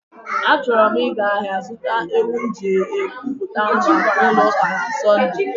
Achọrọ m ịga ahịa zụta ewu m ji ekụ pụta nwa n'ụlọ ụka na Sondee.